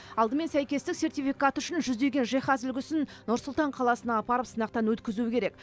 алдымен сәйкестік сертификаты үшін жүздеген жиһаз үлгісін нұр сұлтан қаласына апарып сынақтан өткізу керек